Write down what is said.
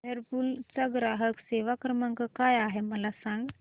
Whirlpool चा ग्राहक सेवा क्रमांक काय आहे मला सांग